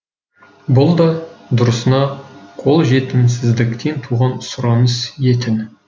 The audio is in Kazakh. бұл да дұрысына қолжетімсіздіктен туған сұраныс етін